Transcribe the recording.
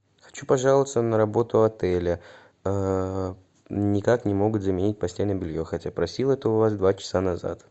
хочу пожаловаться на работу отеля никак не могут заменить постельное белье хотя просил это у вас два часа назад